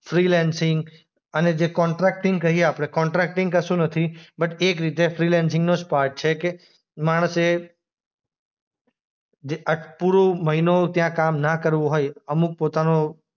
freelancing અને જે contracting કહીએ આપણે કોન્ટ્રાક્ટિંગ કશું નથી બટ એક રીતે ફ્રીલેન્સીંગ નો જ પાર્ટ છે કે માણસે જે આ પૂરો મહિનો ત્યાં કામ ન કરવું હોય અમુક પોતાનો